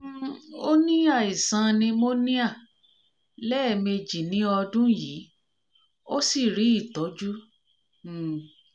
um ó ní aisan pneumonia lẹ̀ẹ́méjì ní ọdún yìí ó sì rí ìtọ́jú um